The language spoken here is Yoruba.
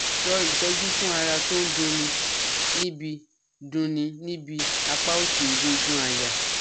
So itoju fun ara ton du ni nibi du ni nibi apa osi egungun aya